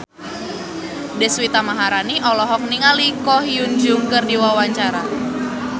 Deswita Maharani olohok ningali Ko Hyun Jung keur diwawancara